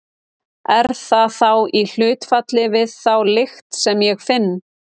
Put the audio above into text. Er það þá í hlutfalli við þá lykt sem ég finn?